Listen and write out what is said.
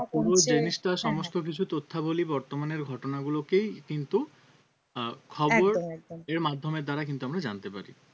কমছে পুরো জিনিসটা হ্যাঁ হ্যাঁ সমস্ত কিছু তথ্যাবলী বর্তমানের ঘটনাগুলোকেই কিন্তু আহ খবর একদম একদম এর মাধ্যমের দ্বারা কিন্তু আমরা জানতে পারি